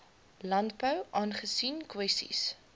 landbou aangesien kwessies